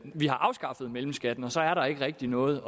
har afskaffet mellemskatten og så er der ikke rigtig noget